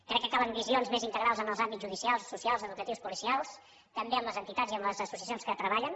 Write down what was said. crec que calen visions més integrals en els àmbits judicials socials educatius policials també amb les entitats i amb les associacions que hi treballen